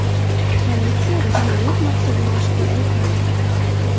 Politsiya jinoyat maqsadini oshkor etmadi.